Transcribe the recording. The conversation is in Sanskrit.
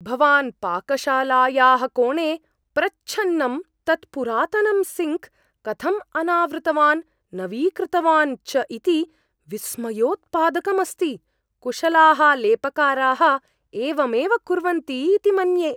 भवान् पाकशालायाः कोणे प्रच्छन्नं तत् पुरातनं सिङ्क् कथम् अनावृतवान्, नवीकृतवान् च इति विस्मयोत्पादकम् अस्ति। कुशलाः लेपकाराः एवमेव कुर्वन्ति इति मन्ये।